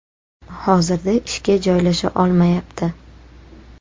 Hozirda ishga joylasha olmayapti.